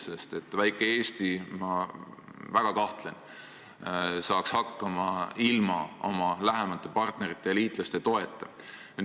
Ma väga kahtlen, et väike Eesti saaks hakkama ilma oma lähemate partnerite ja liitlaste toeta.